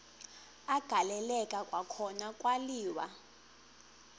agaleleka kwakhona kwaliwa